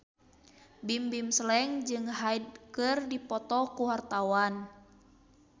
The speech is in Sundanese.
Bimbim Slank jeung Hyde keur dipoto ku wartawan